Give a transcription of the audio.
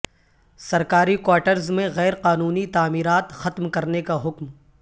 سرکاری کواٹرز میں غیر قانونی تعمیرات ختم کرنے کا حکم